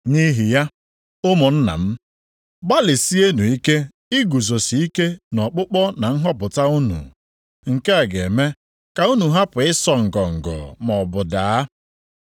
Nʼihi ya ụmụnna m, gbalịsienụ ike iguzosike nʼọkpụkpọ na nhọpụta unu. Nke a ga-eme ka unu hapụ ịsọ ngọngọ maọbụ daa.